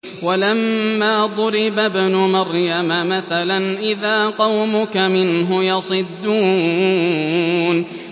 ۞ وَلَمَّا ضُرِبَ ابْنُ مَرْيَمَ مَثَلًا إِذَا قَوْمُكَ مِنْهُ يَصِدُّونَ